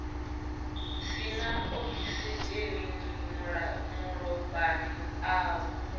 si na okisidzheni malofhani avho